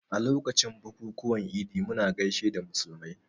A lokacin bukukuwan Idi muna gaishe da musulmai